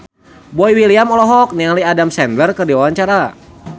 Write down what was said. Boy William olohok ningali Adam Sandler keur diwawancara